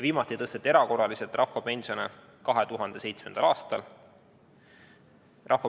Viimati tõsteti erakorraliselt rahvapensione 2007. aastal.